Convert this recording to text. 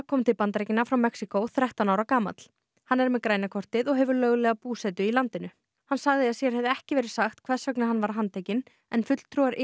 kom til Bandaríkjanna frá Mexíkó þrettán ára gamall hann er með græna kortið og hefur löglega búsetu í landinu hann sagði að sér hefði ekki verið sagt hvers vegna hann var handtekinn en fulltrúar